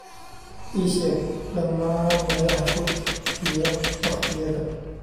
ii sheeg dhammaan meelaha fog iyo waqtiyada